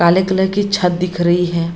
काले कलर की छत दिख रही है।